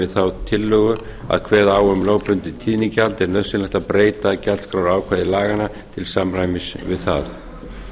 þá tillögu að kveða á um lögbundið tíðnigjald er nauðsynlegt að breyta gjaldskrárákvæði laganna til samræmis við það